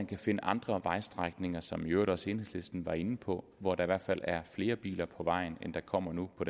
kan finde andre vejstrækninger som i øvrigt også enhedslisten var inde på hvor der i hvert fald er flere biler på vejen end der kommer nu på